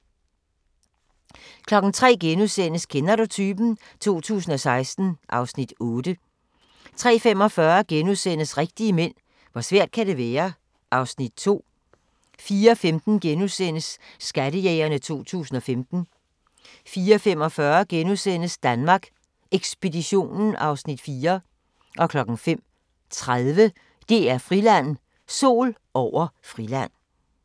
03:00: Kender du typen? 2016 (Afs. 8)* 03:45: Rigtige mænd - hvor svært kan det være? (Afs. 2)* 04:15: Skattejægerne 2015 * 04:45: Danmark Ekspeditionen (Afs. 4)* 05:30: DR-Friland: Sol over Friland